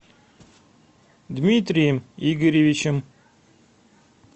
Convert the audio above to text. дмитрием игоревичем